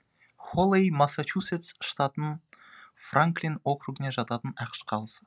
холэй массачусетс штатының франклин округіне жататын ақш қаласы